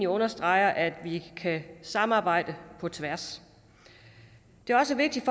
understreger at vi kan samarbejde på tværs det er også vigtigt